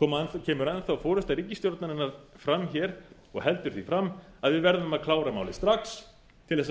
kemur enn þá forusta ríkisstjórnarinnar fram hér og heldur því fram að við verðum að klára málið strax til þess að fá